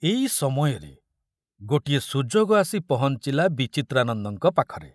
ଏଇ ସମୟରେ ଗୋଟିଏ ସୁଯୋଗ ଆସି ପହଞ୍ଚିଲା ବିଚିତ୍ରାନନ୍ଦଙ୍କ ପାଖରେ।